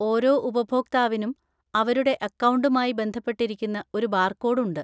ഓരോ ഉപഭോക്താവിനും അവരുടെ അക്കൗണ്ടുമായി ബന്ധപ്പെട്ടിരിക്കുന്ന ഒരു ബാർകോഡ് ഉണ്ട്.